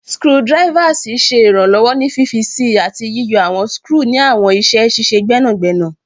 Screwdrivers ṣe iranlọwọ ni fifi sii ati yiyọ awọn skru ni awọn iṣẹ ṣiṣe gbẹnagbẹna